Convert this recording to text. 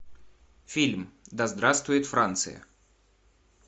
фильм да здравствует франция